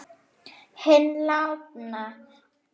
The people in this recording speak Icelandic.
Hinn látna.